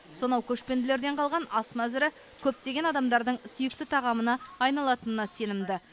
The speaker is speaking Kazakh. сонау көшпенділерден қалған ас мәзірі көптеген адамдардың сүйікті тағамына айналатынына сенімді